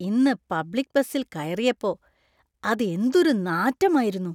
ഇന്ന് പബ്ലിക് ബസിൽ കയറിയപ്പോ അത് എന്തൊരു നാറ്റമായിരുന്നു.